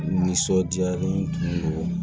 Nisɔndiyalen don